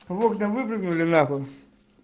в кна выпрыгнули нахуй